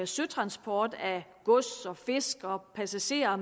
søtransport af gods fisk passagerer